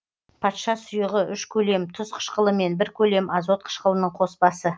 патша сұйығы үш көлем тұз қышқылымен бір көлем азот қышқылының коспасы